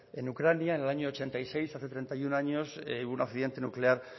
en ucrania en el año mil novecientos ochenta y seis hace treinta y uno años hubo un accidente nuclear